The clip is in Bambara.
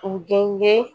U gɛn ye